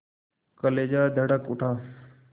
कलेजा धड़क उठा